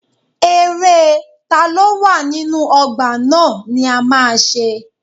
Eré taló wà nínú ọgbà ná ni a ma ṣe.